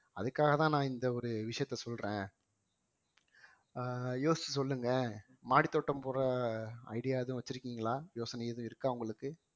அதுக்காகதான் நான் இந்த ஒரு விஷயத்த சொல்றேன் அஹ் யோசிச்சு சொல்லுங்க மாடித்தோட்டம் போடற idea எதுவும் வச்சிருக்கீங்களா யோசனை எதுவும் இருக்கா உங்களுக்கு